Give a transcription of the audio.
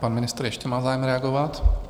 Pan ministr ještě má zájem reagovat.